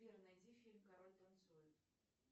сбер найди фильм король танцует